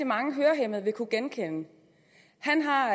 mange hørehæmmede vil kunne genkende han har